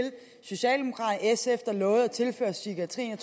socialdemokraterne sf lovede at tilføre psykiatrien